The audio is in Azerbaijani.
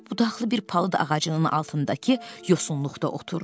Qollu-budaqlı bir palıd ağacının altındakı yosunluqda oturdu.